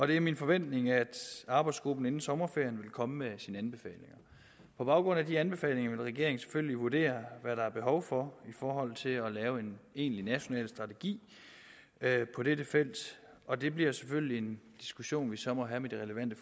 det er min forventning at arbejdsgruppen inden sommerferien vil komme med sine anbefalinger på baggrund af de anbefalinger vil regeringen selvfølgelig vurdere hvad der er behov for i forhold til at lave en egentlig national strategi på dette felt og det bliver selvfølgelig en diskussion vi så må have med de relevante